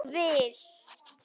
Ég vil!